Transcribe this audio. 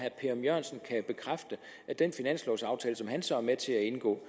af den finanslovaftale som han så er med til at indgå